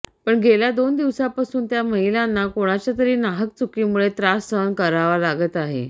पण गेल्या दोन दिवसापासून त्या महिलांना कोणाच्या तरी नाहक चुकीमुळे त्रास सहन करावा लागत आहे